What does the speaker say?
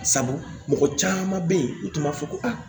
Sabu mɔgɔ caman bɛ yen u tun b'a fɔ ko aa